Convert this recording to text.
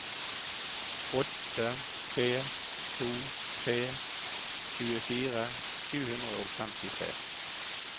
åtte tre to tre tjuefire sju hundre og femtitre